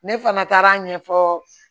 Ne fana taara a ɲɛfɔ